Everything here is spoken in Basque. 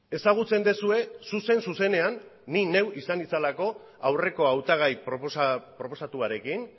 ezagutzen duzue zuzen zuzenean ni neu izan nintzalako aurreko hautagai proposatuarekin